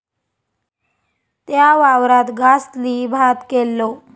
त्या वावरात गासली भात केल्लो